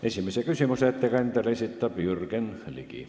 Esimese küsimuse ettekandjale esitab Jürgen Ligi.